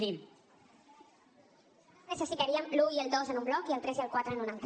nosaltres necessitaríem l’un i el dos en un bloc i el tres i el quatre en un altre